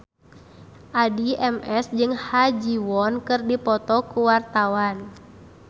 Addie MS jeung Ha Ji Won keur dipoto ku wartawan